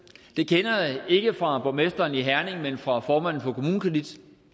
det kender jeg ikke fra borgmesteren i herning men fra formanden for kommunekredit